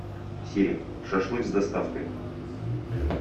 сири шашлык с доставкой